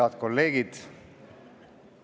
Head kolleegid!